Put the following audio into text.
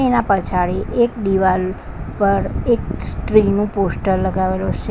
એના પછાડી એક દિવાલ પર એક સ્ત્રીનું પોસ્ટર લગાવેલું છે.